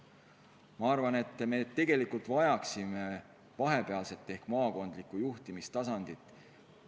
Ma arvan, et me tegelikult vajaksime vahepealset ehk maakondlikku juhtimistasandit.